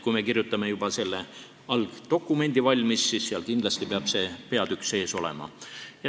Kui me kirjutame selle algdokumendi valmis, siis peab seal kindlasti see peatükk sees olema.